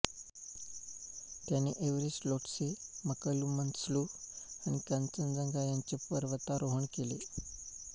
त्याने एव्हरेस्ट लोटसे मकालू मनस्लु आणि कांचनजंगा याचे पर्वतारोहण केले